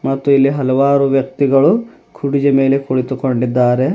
ಮತ್ತು ಇಲ್ಲಿ ಹಲವಾರು ವ್ಯಕ್ತಿಗಳು ಕುರುಚಿಯ ಮೇಲೆ ಕುಳಿತುಕೊಂಡಿದ್ದಾರೆ.